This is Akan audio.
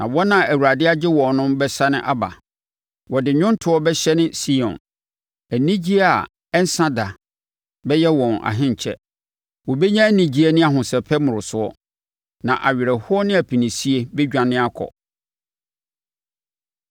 na wɔn a Awurade agye wɔn no bɛsane aba. Wɔde nnwontoɔ bɛhyɛne Sion; anigyeɛ a ɛnsa da bɛyɛ wɔn ahenkyɛ. Wɔbɛnya anigyeɛ ne ahosɛpɛ mmorosoɔ, na awerɛhoɔ ne apinisie bɛdwane akɔ.